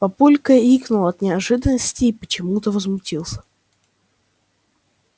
папулька икнул от неожиданности и почему-то возмутился